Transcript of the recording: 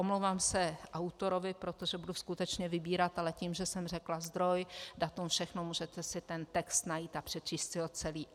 Omlouvám se autorovi, protože budu skutečně vybírat, ale tím, že jsem řekla zdroj, datum, všechno, můžete si ten text najít a přečíst si ho celý.